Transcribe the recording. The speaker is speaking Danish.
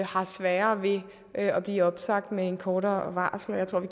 har sværere ved at blive opsagt med et kortere varsel jeg tror at